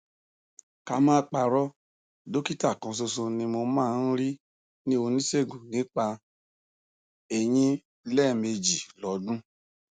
ká má parọ dọkítà kanṣoṣo tí mo máa ń rí ni oníṣègùn nípa eyín lẹẹmejì lọdún